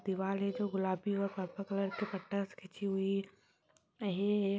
दीवाल है जो गुलाबी और पर्पल कलर के पट्टा से खींची हुई है -है -है।